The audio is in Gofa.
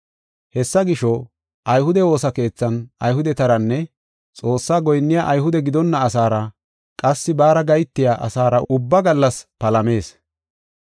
Hessa gisho, ayhude woosa keethan Ayhudetaranne Xoossa goyinniya Ayhude gidonna asaara qassi baara gahetiya asaara ubba gallas palamees.